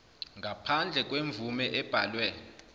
ngaphandle kwemvume ebhaliwe